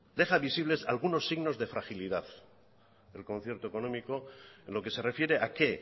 deja visibles algunos signos de fragilidad el concierto económico en lo que se refiere a qué